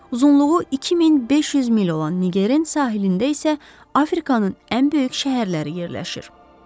Uzunluğu 2500 mil olan Nigerin sahilində isə Afrikanın ən böyük şəhərləri yerləşir.